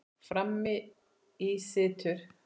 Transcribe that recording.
Frammi í situr